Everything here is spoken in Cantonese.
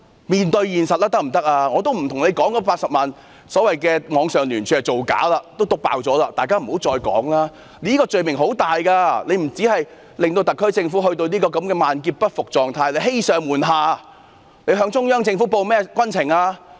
我已沒有說出，所謂的80萬人網上聯署是造假，這事已被揭穿，大家不要再提了，這個罪名很嚴重的，不單令特區政府陷入這種萬劫不復的狀態，更是欺上瞞下，他們向中央政府匯報了甚麼軍情？